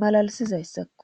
malalisizayssakko